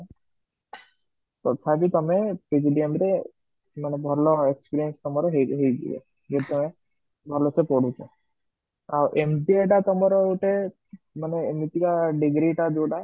ତଥାପି ତମମେ PGDM ରେ ମାନେ ଭଲ experience ହେଇ ହାଇଯିବା ଭଲ ସେ ପଢୁଛ ଆଉ MBA ଟା ତମର ଗୋଟେ ଏମତିକି degree ଟା ଯୋଉଟା